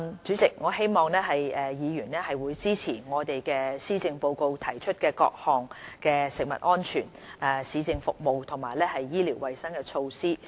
主席，我希望議員支持施政報告中提出的各項食物安全、市政服務及醫療衞生的措施。